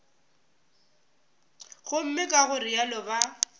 gomme ka go realo ba